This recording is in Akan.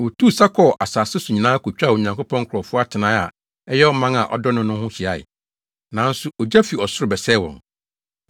Wotuu sa kɔɔ asase so nyinaa kotwaa Onyankopɔn nkurɔfo atenae a ɛyɛ ɔman a ɔdɔ no no ho hyiae. Nanso ogya fi ɔsoro bɛsɛee wɔn.